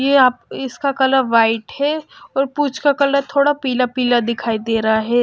ये आप इसका कलर वाइट है और पूंछ का कलर थोड़ा पीला पीला दिखाई दे रहा है।